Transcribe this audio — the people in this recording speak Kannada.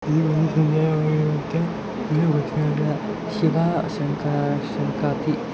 ಇಲ್ಲಿ ನೋಡಬಹುದಾಗಿದೆ ಇಲ್ಲಿ ಶಿವ ಶಕ್ತಿ ಎನ್ನುವಂತ ಬಸ್ಸಿದೆ.